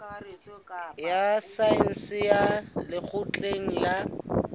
ya saense ya lekgotleng la